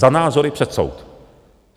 Za názory před soud.